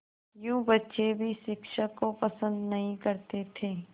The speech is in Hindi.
यूँ बच्चे भी शिक्षक को पसंद नहीं करते थे